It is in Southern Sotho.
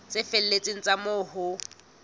tse felletseng tsa moo ho